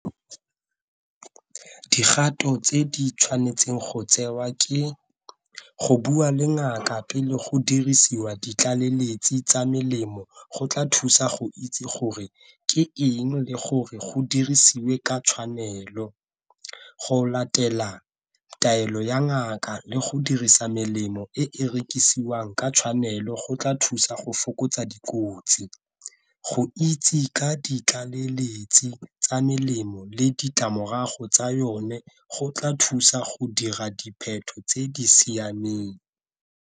tse di tshwanetseng go tsewa ke go bua le ngaka pele go dirisiwa ditlaleletsi tsa melemo go tla thusa go itse gore ke eng le gore go dirisiwe ka tshwanelo. Go latela taelo ya ngaka le go dirisa melemo e e rekisiwang ka tshwanelo go tla thusa go fokotsa dikotsi, go itse ka ditlaleletsi tsa melemo le ditlamorago tsa yone go tla thusa go dira dipheto tse di siameng.